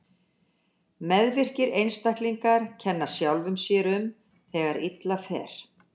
Meðvirkir einstaklingar kenna sjálfum sér um þegar illa fer.